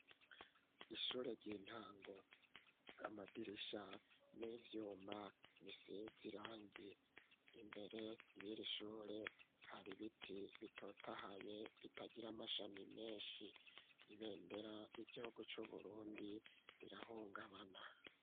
Ishure ry'intango amadirisha n'ivyuma bisize irangi imbere yiri shure hari ibiti bitotahaye bitagira amashami menshi ibendera ry'igihugu c'uBurundi rirahungabana.